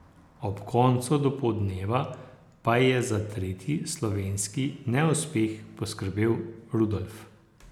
Ob koncu dopoldneva pa je za tretji slovenski neuspeh poskrbel Rudolf.